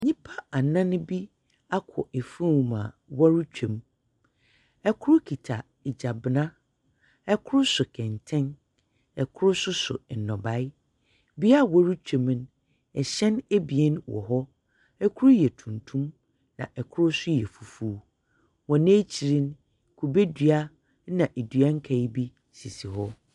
Nyimpa anan bi akɔ afuom a wɔretwa mu. Kor kita gyabena. Kor so kɛntɛn. Kor nso so nnɔbaeɛ. Beaeɛ a wɔretwa mu no, hyɛn ebien wɔ hɔ. Kor yɛ tuntum, na kor nso yɛ fufuw. Hɔn ekyir no, kube dua na dua nkae bi sisi hɔ.